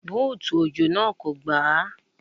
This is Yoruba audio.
Búùtù òjò náà kò gbà á.